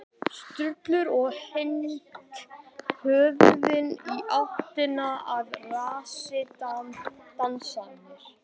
Sturlu og hnykkti höfðinu í áttina að rassi dansmeyjarinnar.